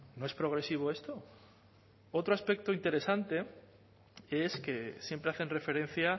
no es progresivo esto otro aspecto interesante es que siempre hacen referencia